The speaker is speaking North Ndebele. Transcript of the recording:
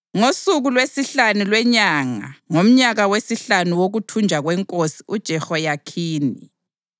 Ngosuku lwesihlanu lwenyanga ngomnyaka wesihlanu wokuthunjwa kwenkosi uJehoyakhini